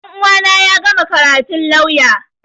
Ɗan uwana ya gama karatun lauya